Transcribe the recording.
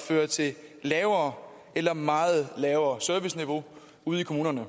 fører til et lavere eller meget lavere serviceniveau ude i kommunerne